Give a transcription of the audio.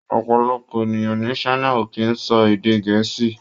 Ọ̀̀pọ̀lọpọ̀ ènìyàn ní China ò kì í sọ èdè Gẹ̀ẹ́sì.